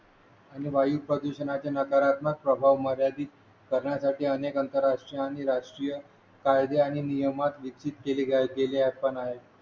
आणि वायू प्रदूषणाच्या नकारात्मक प्रभाव मर्यादित करण्यासाठी अनेक आंतरराष्ट्रीय आणि राष्ट्रीय कायदे आणि नियम विकसित केले गेले आहे